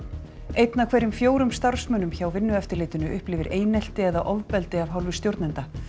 einn af hverjum fjórum starfsmönnum hjá Vinnueftirlitinu upplifir einelti eða ofbeldi af hálfu stjórnenda